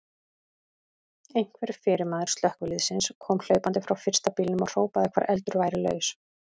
Einhver fyrirmaður slökkviliðsins kom hlaupandi frá fyrsta bílnum og hrópaði hvar eldur væri laus.